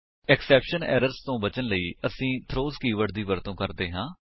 exception errors ਤੋ ਬਚਨ ਲਈ ਅਸੀ ਥਰੋਜ਼ ਕੀਵਰਡ ਦੀ ਵਰਤੋ ਕਰਦੇ ਹਾਂ